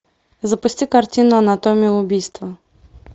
запусти картину анатомия убийства